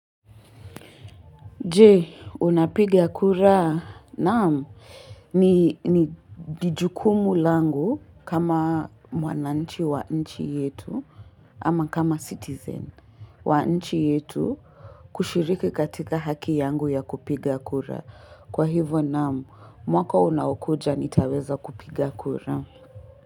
Je, unapiga kura? Naam, ni jukumu langu kama mwananchi wa nchi yetu ama kama citizen wa nchi yetu kushiriki katika haki yangu ya kupiga kura. Kwa hivyo naam, mwaka unaokuja nitaweza kupiga kura.